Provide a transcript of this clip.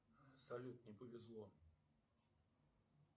салют не повезло